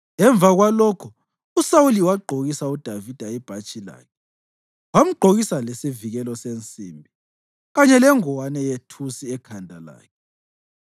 Emva kwalokho uSawuli wagqokisa uDavida ibhatshi lakhe. Wamgqokisa lesivikelo sensimbi kanye lengowane yethusi ekhanda lakhe.